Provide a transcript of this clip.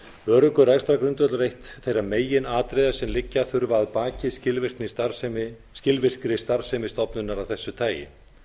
öruggur rekstrargrundvöllur er eitt þeirra meginatriða sem liggja að baki skilvirkri starfsemi stofnunar af þessu tagi